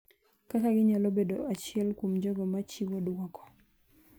kaka ginyalo bedo achiel kuom jogo ma chiwo duoko